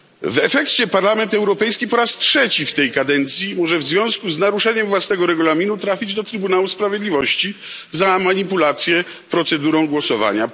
W efekcie Parlament Europejski po raz trzeci w tej kadencji może w związku z naruszeniem własnego regulaminu trafić do Trybunału Sprawiedliwości za manipulację procedurą głosowania.